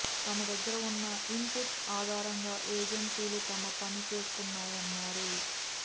తమ దగ్గర ఉన్న ఇన్ పుట్స్ ఆధారంగా ఏజెన్సీలు తమ పని చేస్తున్నాయన్నారు